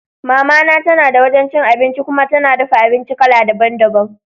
Mama na tana da wajan cin abinci kuma tana dafa abinci kala daban daban.